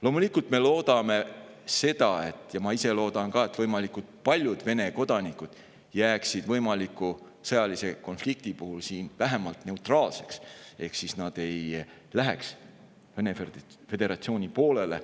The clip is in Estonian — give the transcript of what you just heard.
Loomulikult, me loodame seda – ma ise loodan ka –, et võimalikult paljud Vene kodanikud jääksid võimaliku sõjalise konflikti puhul siin vähemalt neutraalseks ehk nad ei läheks üle Vene föderatsiooni poolele.